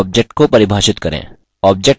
object को परिभाषित करें